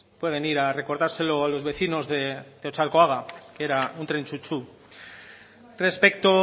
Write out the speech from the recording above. puede venir a recordárselo los vecinos de otxarkuaga que era un tren chu chu respecto